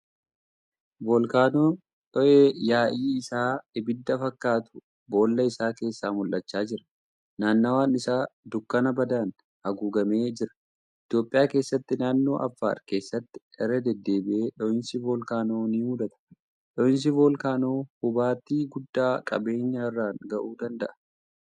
Voolkaanoo dhoo'ee yaa'i isaaa ibidda fakkaatu boolla isaa keessaa mul'achaa jira. Naannawaan isaa dukkana badaan haguuggamee jira. Itiyoophiyaa keessatti naannoo Affaar keessatti irra deddeebi'iee dhooyinsi voolkaanoo ni mudata. Dhoo'insi voolkaanoo hubaatii guddaa qabeenya irraan ga'uu danda'a.